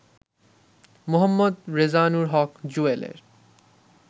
Md Rezanur Haque জুয়েলের